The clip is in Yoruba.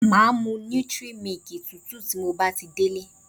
Màá mu 'nutri milk' tútù tí mo bá ti délé